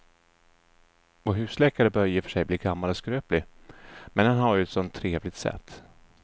Vår husläkare börjar i och för sig bli gammal och skröplig, men han har ju ett sådant trevligt sätt!